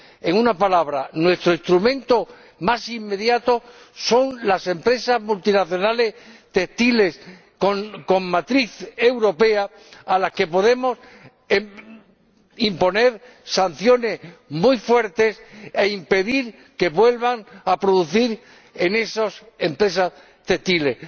En una palabra, nuestro instrumento más inmediato son las empresas multinacionales textiles, con matriz europea, a las que podemos imponer sanciones muy fuertes para impedir que vuelvan a producir en esas empresas textiles.